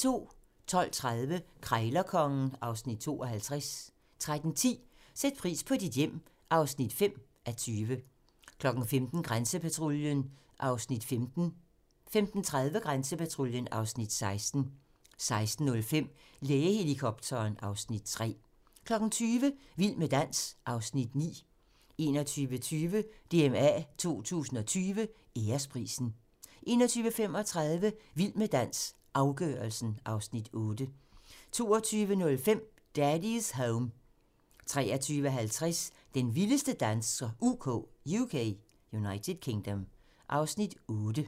12:30: Krejlerkongen (Afs. 52) 13:10: Sæt pris på dit hjem (5:20) 15:00: Grænsepatruljen (Afs. 15) 15:30: Grænsepatruljen (Afs. 16) 16:05: Lægehelikopteren (Afs. 3) 20:00: Vild med dans (Afs. 9) 21:20: DMA 2020 Æresprisen 21:35: Vild med dans - afgørelsen (Afs. 8) 22:05: Daddy's Home 23:50: Den vildeste danser UK (Afs. 8)